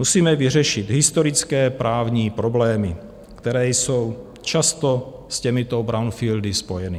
Musíme vyřešit historické právní problémy, které jsou často s těmito brownfieldy spojeny.